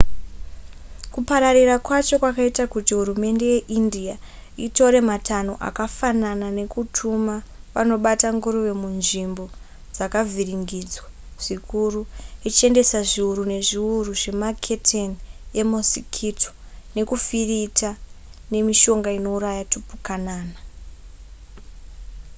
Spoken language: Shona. kupararira kwacho kwaita kuti hurumende yeindia itore matanho akafanana nekutuma vanobata nguruve munzvimbo dzakavhiringidzwa zvikuru ichiendesa zviuru nezviuru zvemaketeni emosikito nekufirita nemishonga inouraya tipukanana